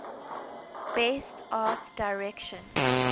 best art direction